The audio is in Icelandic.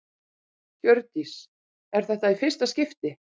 Hjördís: Er þetta í fyrsta skipti?